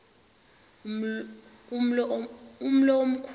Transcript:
umlo omkhu lu